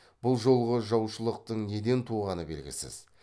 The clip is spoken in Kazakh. бұл жолғы жаушылықтың неден туғаны белгісіз